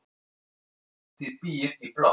Bettý býr í blokk.